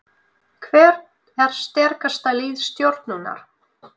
Hvert er sterkasta lið Stjörnunnar?